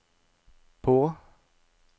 på